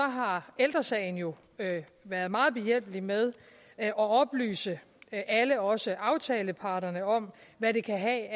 har ældre sagen jo være meget behjælpelig med at oplyse alle også aftaleparterne om hvad det kan have af